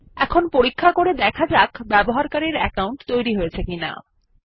এখন পরীক্ষা করে দেখা যাক ব্যবহারকারীর অ্যাকাউন্ট তৈরি হয়েছে কিনা